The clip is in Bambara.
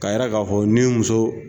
Ka yIrɛ ka fɔ ni muso